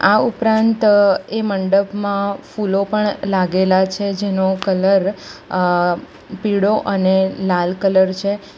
આ ઉપરાંત એ મંડપમાં ફૂલો પણ લાગેલા છે જેનો કલર અ પીળો અને લાલ કલર છે.